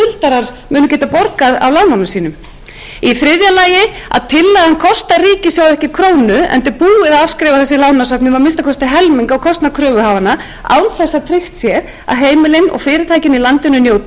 skuldarar munu geta borgað af lánunum sínum í þriðja lagi kostar tillagan ríkissjóð ekki krónu enda er búið að afskrifa þessi lánasöfn um að minnsta kosti helming á kostnað kröfuhafanna án þess að tryggt sé að heimilin og fyrirtækin njóti þess heldur